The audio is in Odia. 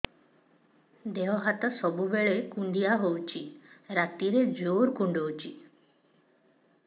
ଦେହ ହାତ ସବୁବେଳେ କୁଣ୍ଡିଆ ହଉଚି ରାତିରେ ଜୁର୍ କୁଣ୍ଡଉଚି